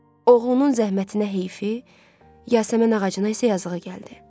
Oğlunun zəhmətinə heyfi, Yasəmən ağacına isə yazığı gəldi.